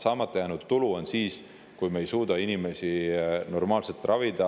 Saamata jäänud tulu tõttu me ei suuda inimesi normaalselt ravida.